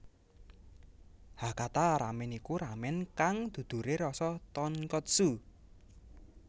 Hakata ramen iku ramen kang dudure rasa tonkotsu